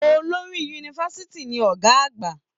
Olórí yunifásítì ní Ọgá àgbà.